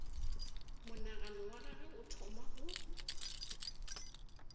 monagano wa gagwe o thoma